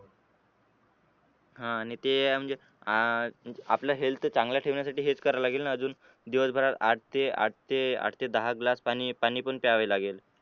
आह आणि ते आहे म्हणजे अं आपलं हेल्थ चांगलं ठेवण्यासाठी म्हणजे हेच करावं लागेल ना अजून दिवसभरात आठते आठते आठते दहा ग्लास पाणी पाणी पण त्यावे लागेल.